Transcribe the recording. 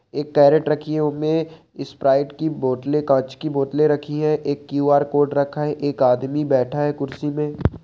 एक केरट रखी है उममे स्प्राइट की बोतले कांच की बोतले रखी है एक क्यू आर कोड रखा है एक आदमी बैठा है कुर्सी में।